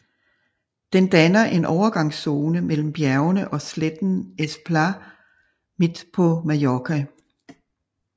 Den danner en overgangszone mellem bjergene og sletten Es Plà midt på Mallorca